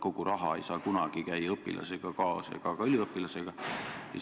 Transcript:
Kogu raha ei saa kunagi õpilasega ega ka üliõpilasega kaasas käia.